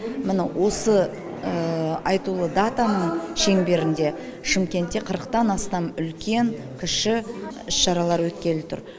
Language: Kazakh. міні осы айтулы датаның шеңберінде шымкентте қырықтан астам үлкен кіші іс шаралар өткелі тұр